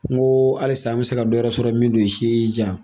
N ko halisa an bɛ se ka dɔ wɛrɛ sɔrɔ min t'o si ye jan.